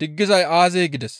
diggizay aazee?» gides.